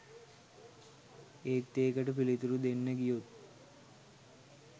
ඒත් ඒකට පිළිතුරු දෙන්න ගියොත්